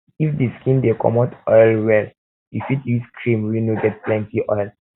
if di skin dey comot oil well well you fit use cream wey no get plenty oil